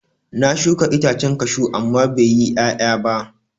Na shuka itacen kashu amma bai yi ƴaƴa ba.